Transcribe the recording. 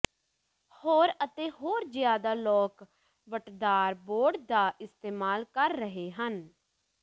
ਹੋਰ ਅਤੇ ਹੋਰ ਜਿਆਦਾ ਲੋਕ ਵੱਟਦਾਰ ਬੋਰਡ ਦਾ ਇਸਤੇਮਾਲ ਕਰ ਰਹੇ ਹਨ